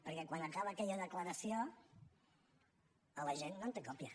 perquè quan acaba aquella declaració l’agent no en té còpia